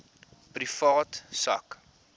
privaat sak